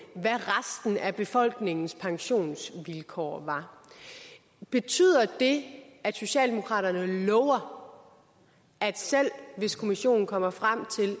at af befolkningens pensionsvilkår var betyder det at socialdemokraterne lover at selv hvis kommissionen kommer frem til